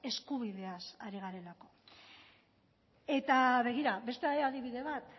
eskubideaz ari garelako eta begira beste adibide bat